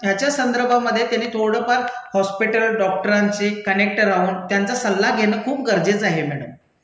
ह्याच्या संदर्भामधे त्यांनी थोडंफार हॉस्पिटल, डॉक्टरांचे कनेक्ट राहून त्यांचा सल्ला घेणं खूप गरजेचं आहे मैडम.